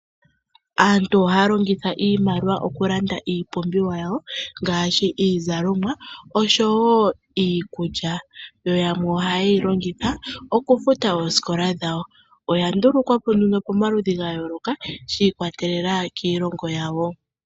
Aantu ohaya longitha iimaliwa okulanda iipumbiwa yawo ngaashi iizalomwa niikulya yo yamwe oayeyi longitha okufuta oosikola dhawo. Oya ndulukwa po pamaludhi ga yooloka shi ikwatelela kiilongo yawo.